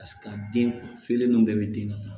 Ka se ka den feere ninnu bɛɛ bɛ den na